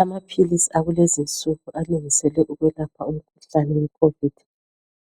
Amaphilisi akulezi insuku alungiselwe ukwelapha umkhuhlane wekhovidi